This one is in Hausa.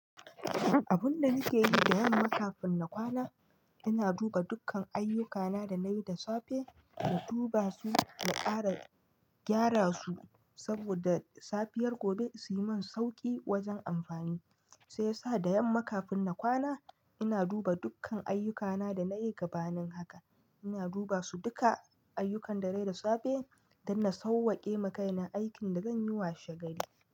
Abun da nake yi da yamma kafin na kwana, ina duba dukkan ayyukana da na yi da safe, na duba su, na ƙara gyara su saboda safiyar gobe su yi min sauƙi wajen amfani. Sai sa da yamma kafin na kwana, ina duba dukkan ayyukana da na yi gabanin haka. Ina duba su duka ayyukan da na yi da safe don na sauwake makaina aikin da zan yi wa shagari.